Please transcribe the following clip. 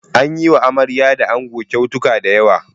An yi wa amarya da ango kyautuka da yawa.